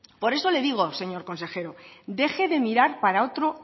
por eso le digo señor consejero deje de mirar para otro